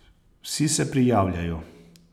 Vsi se prijavljajo.